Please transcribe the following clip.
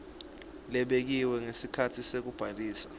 lebekiwe ngesikhatsi sekubhalisa